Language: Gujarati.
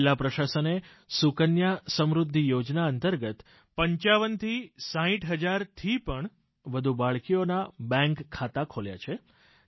જિલ્લા પ્રશાસને સુકન્યા સમૃદ્ધિ યોજના અંતર્ગત 5560 હજારથી પણ વધુ બાળકીઓના બેન્ક ખાતા ખોલ્યા છે